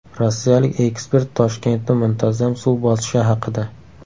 Rossiyalik ekspert Toshkentni muntazam suv bosishi haqida.